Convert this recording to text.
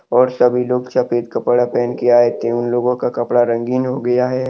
और सभी लोग सफेद कपड़ा पहन के आये थे उन लोगो का कपड़ा रंगीन हो गया है।